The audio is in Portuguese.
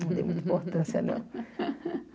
Não dei muita importância, não.